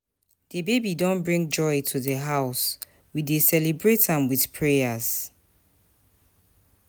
The baby don bring joy to the house, we dey celebrate am with prayers.